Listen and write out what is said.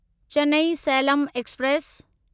Chennai Salem express